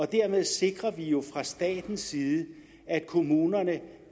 dermed sikrer vi jo fra statens side at kommunerne